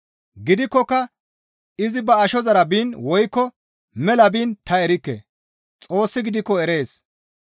Gidikkoka izi ba ashozara biin woykko mela biin ta erikke; Xoossi gidikko erees.